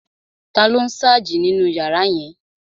Taló n sáàjì nínu yàrá yẹn?